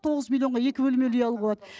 тоғыз миллионға екі бөлмелі үй алуға болады